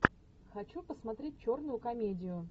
хочу посмотреть черную комедию